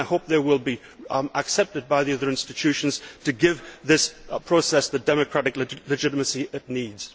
I hope they will be accepted by the other institutions to give this process the democratic legitimacy it needs.